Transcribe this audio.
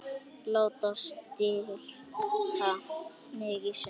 Láta slíta mig í sundur.